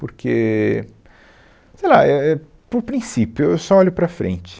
Porque, sei lá, é, é, por princípio, eu eu só olho para frente.